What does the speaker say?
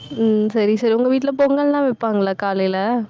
உம் சரி, சரி உங்க வீட்டுல பொங்கல் எல்லாம் வைப்பாங்கல்ல காலையில